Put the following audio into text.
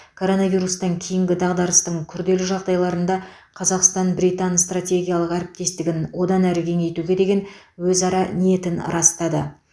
короновирустан кейінгі дағдарыстың күрделі жағдайларында қазақстан британ стратегиялық әріптестігін одан әрі кеңейтуге деген өзара ниетін растады